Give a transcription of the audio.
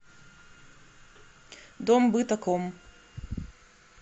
дом бытаком